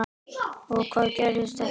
Og hvað gerðist ekki.